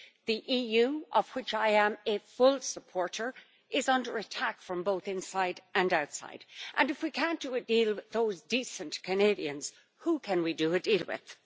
The EU, of which I am a full supporter, is under attack from both inside and outside, and if we cannot do a deal with those decent Canadians, who can we do a deal with?